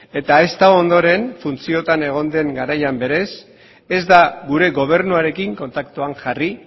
eta ezta ondoren funtziotan egon den garaian berez ez da gure gobernuarekin kontaktuan jarri